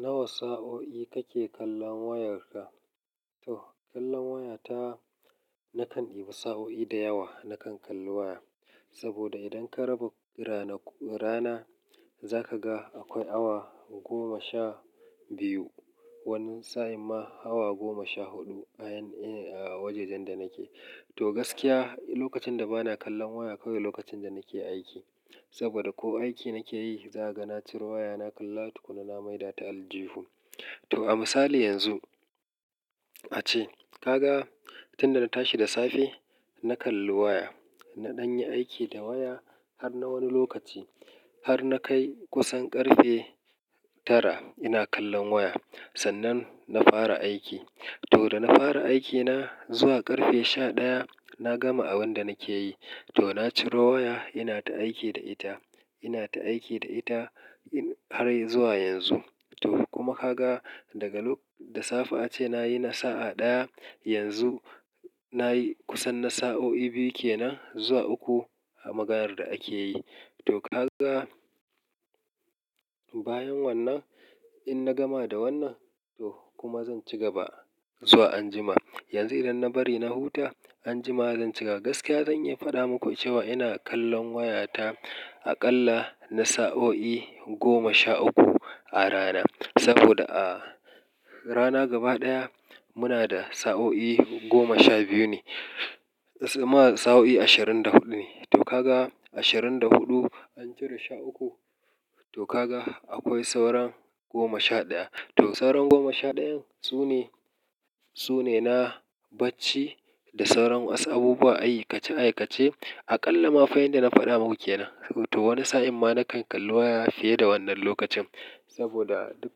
Nawa sa'o'i kake kallon wayarka? To kallon waya ta, na kan ɗiba sa'o'i da yawa na kan kalli waya. Saboda idan ka raba rana, rana za ka ga akwai awa goma sha biyu. Wani sa'in ma awa goma sha huɗu a ina, a wajajen da nake. To gaskiya lokacin da ba na kallon waya kawai lokacin da nake aiki. Saboda ko aiki nake yi, za ka ga na ciro waya na kalla tukunna na maida ta aljihu. To a misali yanzu, ace ka ga tun da na tashi da safe na kalli waya, na ɗan yi aiki da waya har na wani lokaci har na kai kusan ƙarfe tara ina kallon waya. Sannan na fara aiki. To da na fara aikina zuwa ƙarfe sha ɗaya na gama abin da nake yi. To na ciro waya ina ta aiki da ita, ina ta aiki da ita in har zuwa yanzu. To kuma ka ga daga da safe ace nayi na sa'a ɗaya yanzu nayi kusan na sa'o'i biyu kenan zuwa uku a maganar da ake yi. To ka ga bayan wannan in na gama da wannan, to kuma zan cigaba zuwa anjima. Yanzu idan na bari na huta, anjima zan ci gaba. Gaskiya zan iya faɗa muku cewa ina kallon waya ta aƙalla na sa'o'i goma sha uku a rana. Saboda a rana gaba ɗaya muna da sa'o'i goma sha biyu ne, ma sa'o'i ashirin da huɗu ne. To ka ga ashirin da huɗu an cire sha uku, to ka ga akwai sauran goma sha ɗaya. To sauran goma sha ɗayan su ne, su ne na bacci da sauran wasu abubuwa aikace-aikace. Aƙalla ma fa inda na faɗa muku kenan. To wani sa'in ma na kan kalli waya fiye da wannan lokacin. Saboda duk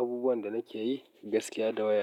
abubuwan da nake yi gaskiya da waya.